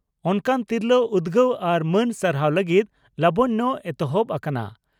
ᱚᱱᱠᱟᱱ ᱛᱤᱨᱞᱟᱹ ᱩᱫᱽᱜᱟᱹᱣ ᱟᱨ ᱢᱟᱹᱱ ᱥᱟᱨᱦᱟᱣ ᱞᱟᱹᱜᱤᱫ 'ᱞᱚᱵᱚᱱᱭᱚ' ᱮᱛᱚᱦᱚᱵ ᱟᱠᱟᱱᱟ ᱾